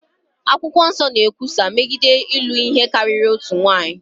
Akwụkwọ Nsọ na-ekwusa megide ịlụ ihe karịrị otu nwaanyị.